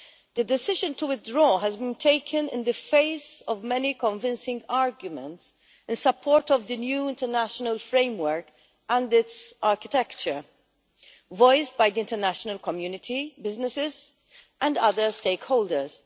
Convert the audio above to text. The decision to withdraw has been taken in the face of many convincing arguments in support of the new international framework and its architecture that have been voiced by the international community, businesses and other stakeholders.